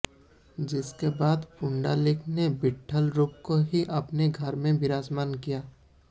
जिसके बाद पुंडलिक ने विट्ठल रूप को ही अपने घर में विराजमान किया